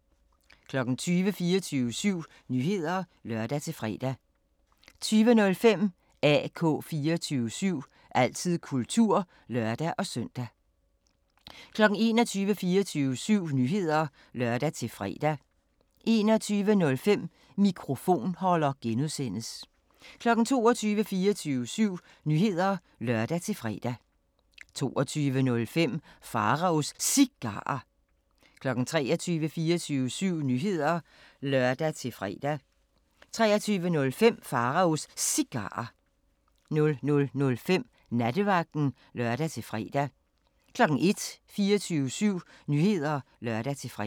20:00: 24syv Nyheder (lør-fre) 20:05: AK 24syv – altid kultur (lør-søn) 21:00: 24syv Nyheder (lør-fre) 21:05: Mikrofonholder (G) 22:00: 24syv Nyheder (lør-fre) 22:05: Pharaos Cigarer 23:00: 24syv Nyheder (lør-fre) 23:05: Pharaos Cigarer 00:05: Nattevagten (lør-fre) 01:00: 24syv Nyheder (lør-fre)